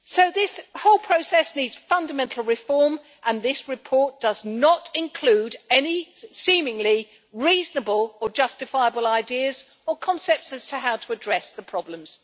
This whole process needs fundamental reform, and this report does not include any seemingly reasonable or justifiable ideas or concepts as to how to address the problems.